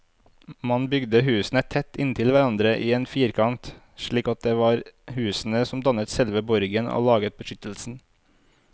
Man bygde husene tett inntil hverandre i en firkant, slik at det var husene som dannet selve borgen og laget beskyttelsen.